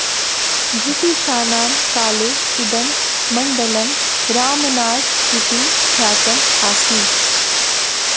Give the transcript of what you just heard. ब्रिटिशानां काले इदं मण्डलं रामनाड् इति ख्यातम् आसीत्